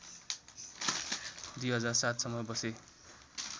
२००७ सम्म बसे